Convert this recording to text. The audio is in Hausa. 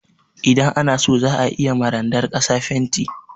Idan ana so za a iya ma randar ƙasa fenti.